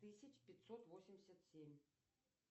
тысяч пятьсот восемьдесят семь